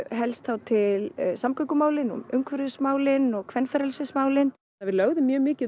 helst þá til samgöngumálin umhverfismálin og kvenfrelsismálin við lögðum mjög mikið